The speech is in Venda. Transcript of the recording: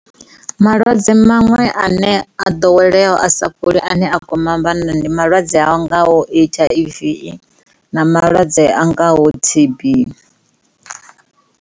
Malwadze maṅwe ane a ḓoweleaho a sa fholi ane kwama vhanna ndi malwadze a ngaho H_I_V na malwadze a ngaho T_B.